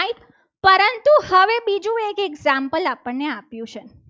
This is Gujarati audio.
એક example આપણને આપ્યું છે.